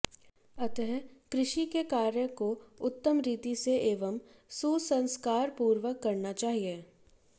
अतः कृषि के कार्य को उत्तम रीति से एवं सुसंस्कारपूर्वक करना चाहिए